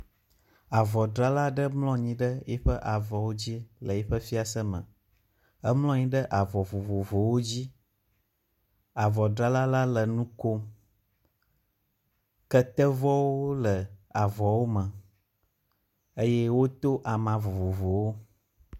Avɔdzrala aɖe mlɔ anyi ɖe eƒe avɔwo dzi le yiƒe fiase me. Emlɔ anyi ɖe avɔ vovovowo dzi. Avɔdzrala la le nu kom. Ketevɔwo le avɔwo me eye wodo ama vovovowo.